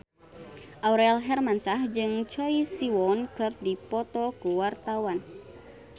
Aurel Hermansyah jeung Choi Siwon keur dipoto ku wartawan